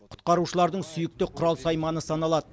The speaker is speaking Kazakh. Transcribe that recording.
құтқарушылардың сүйікті құрал сайманы саналады